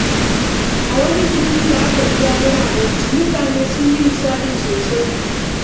A wani biki da aka gudanar a Bauchi, mutane sun yi nishaɗi sosai.